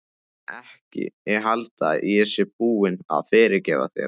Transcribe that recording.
Ekki halda að ég sé búin að fyrirgefa þér.